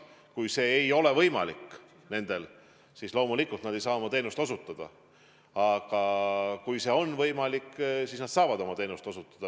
Kui see ei ole võimalik, siis loomulikult nad ei saa oma teenust osutada, aga kui see on võimalik, siis nad saavad oma teenust osutada.